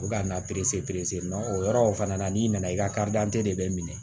U ka na o yɔrɔ fana na n'i nana i ka de bɛ minɛ